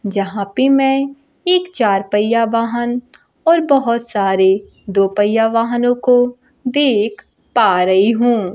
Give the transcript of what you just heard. यहां पे मैं एक चार पहिया वाहन और बहुत सारे दो पहिया वाहनों को देख पा रही हूं।